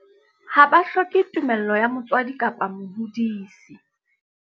Ha ba hloke tumello ya motswadi kapa mohodisi.